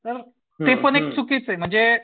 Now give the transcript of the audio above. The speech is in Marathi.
तर ते पण एक चुकीचं आहे म्हणजे